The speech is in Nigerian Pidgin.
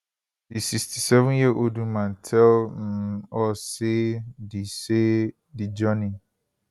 di 67yearold woman tell um us say di say di journey